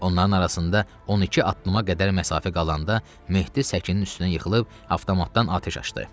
Onların arasında 12 addıma qədər məsafə qalanda Mehdi səkinin üstünə yıxılıb avtomatdan atəş açdı.